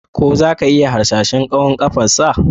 Ko za ka iya hasashen tsawon ƙafarsa?